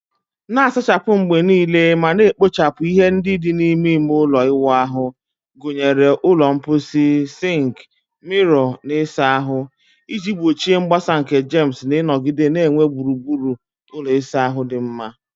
Na-asachapụ mgbe niile ma na-ekpochapụ ihe ndị dị n'ime ime ụlọ ịwụ ahụ, gụnyere ụlọ mposi, sink, mirror, na ịsa ahụ, iji gbochie mgbasa nke germs na ịnọgide na-enwe gburugburu ụlọ ịsa ahụ dị mma.